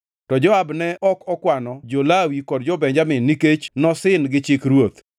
To Joab ne ok okwano jo-Lawi kod jo-Benjamin nikech nosin gi chik ruoth.